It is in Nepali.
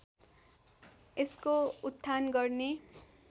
यसको उत्थान गर्ने